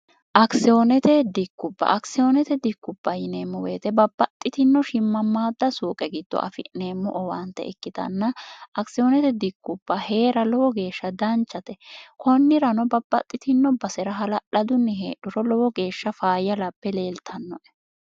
akisiyoonete dikkupha akisiyoonete dikkupha yineemmo weyite babbaxxitinno shimmammaadda suuqe giddo afi'neemmo owaante ikkitanna akisiyoonete dikkupha hee'ra lowo geeshsha danchate konnirano babbaxxitino basera halalhadunni heedhoro lowo geeshsha faayya lape leeltannoe